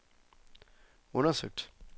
undersøgt